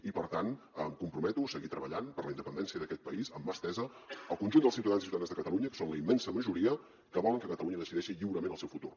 i per tant em comprometo a seguir treballant per la independència d’aquest país amb mà estesa al conjunt dels ciutadans i ciutadanes de catalunya que són la immensa majoria que volen que catalunya decideixi lliurement el seu futur